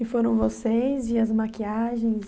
E foram vocês e as maquiagens?